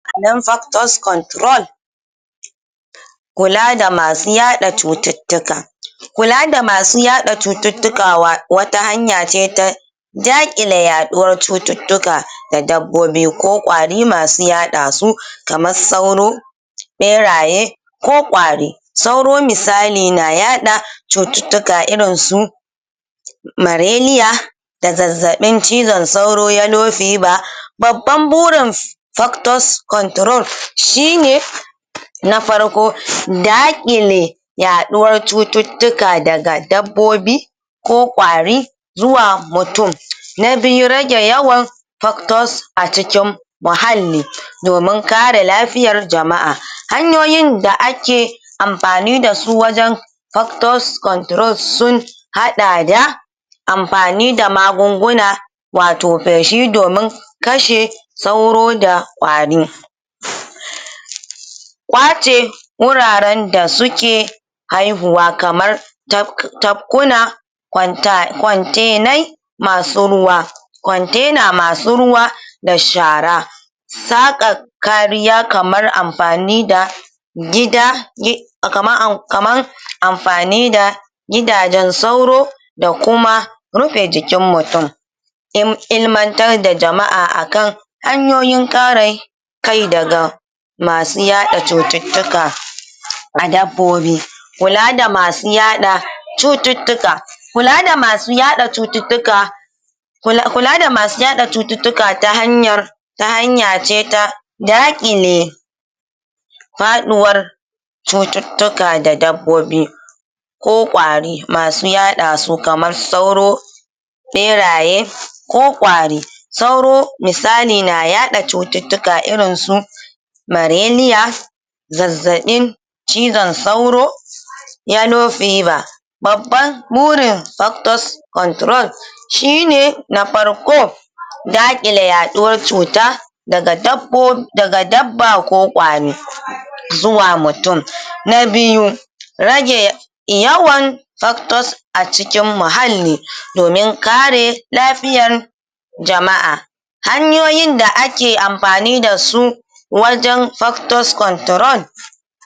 factors control kula da masu yaɗa cuttutuka kula da masu yaɗa cuttukawa wata hanya ce ta jakile yaɗuwar cuttutuka da dabbobi ko kwari masu yaɗa su kamar sauro ɓeraye ko kwari sauro misali na yaɗa cuttutuka irin su malaria da zazaɓin cizon sauro, yellow fever baban burin doctor's control shine na farko dakile yaɗuwar cuttutuka daga dabbobi ko kwari zuwa mutum na biyu rage yawan doctor's a cikin muhalli domin kare lafiyar jama'a, hanyoyin da ake amfani da su wajan dortor's conttrol sun haɗa da amfani da magunguna wato feshi don kashe sauro da kwari kwace wuraren da suke haihuwa kamar tafkuna kwantenai masu ruwa container masu ruwa da shara saka kariya kamar amfani da gida kaman amfani da gidajen sauro da kuma rufe jikin mutum ilimantar da jama'a akan hanyoyin kare kai daga masu yaɗa cuttutuka a dabbobi kula da masu yaɗa cuttutuka, kula da masu yaɗa cuttutuka kula da masu yaɗa cuttutuka ta hanyar ta hanya ce ta dakile faɗiwar cuttutuka da dabbobi ko kwari masu yaɗa su kamar sauro beraye ko kwari sauro misali na yaɗa cuttutuka irin su malaria zazabin cizon sauro yellow fever babban burin doctor's control shi ne na farko dakile yaɗuwar cuta daga daga dabba ko kwari zuwa mutum, na biyu rage yawan doctor's a cikin muhalli domin kare jama'a hanyoyin da ake amfani da su wajan doctor's control.